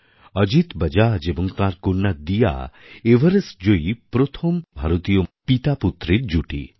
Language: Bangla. অজিত বাজাজ এবং তাঁর কন্যা দিয়া এভারেস্ট জয়ী প্রথম পিতাপুত্রীর জুটি